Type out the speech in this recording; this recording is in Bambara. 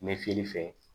N bɛ fiyɛli fɛ